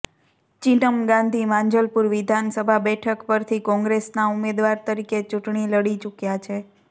ચિન્નમ ગાંધી માંજલપુર વિધાનસભા બેઠક પરથી કોંગ્રેસના ઉમેદવાર તરીકે ચૂંટણી લડી ચૂક્યાં છે